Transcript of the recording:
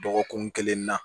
Dɔgɔkun kelen na